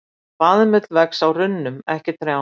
Baðmull vex á runnum, ekki trjám.